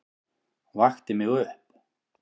Vakti mig upp.